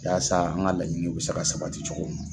Yaasa an ka laɲiniw bɛ se ka sabati cogo mun na